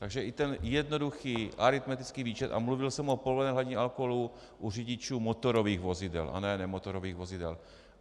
Takže i ten jednoduchý aritmetický výčet, a mluvil jsem o povolené hladině alkoholu u řidičů motorových vozidel a ne nemotorových vozidel.